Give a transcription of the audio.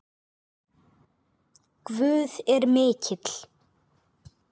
Guð er mikill.